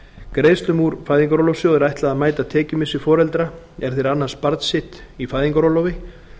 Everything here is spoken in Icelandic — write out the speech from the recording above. greiðslum úr fæðingarorlofssjóði er ætlað að mæta tekjumissi foreldra er þeir annast barn sitt í fæðingarorlofi